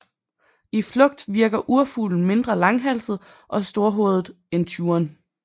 I flugt virker urfuglen mindre langhalset og storhovedet end tjuren